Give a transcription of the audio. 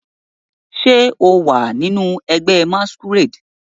Ṣe o wa ninu ẹgbẹ masquerade?